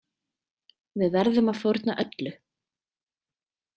Við verðum að fórna öllu.